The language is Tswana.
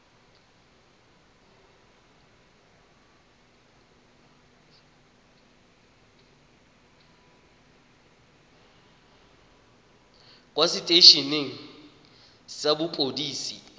kwa setei eneng sa mapodisi